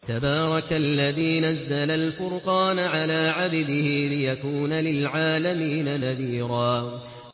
تَبَارَكَ الَّذِي نَزَّلَ الْفُرْقَانَ عَلَىٰ عَبْدِهِ لِيَكُونَ لِلْعَالَمِينَ نَذِيرًا